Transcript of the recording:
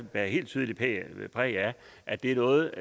bærer helt tydeligt præg af at det er noget